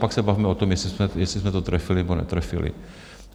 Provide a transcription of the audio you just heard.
Pak se bavme o tom, jestli jsme to trefili, nebo netrefili.